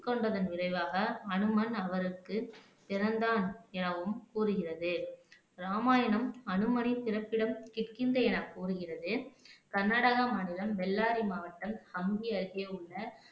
உட்கொண்டதன் விளைவாக அனுமன் அவருக்கு பிறந்தான் எனவும் கூறுகிறது இராமாயணம் அனுமனின் பிறப்பிடம் கிஷ்கிந்தை என கூறுகிறது கர்நாடக மாநிலம் பெல்லாரி மாவட்டம் ஹமுதி அருகே உள்ள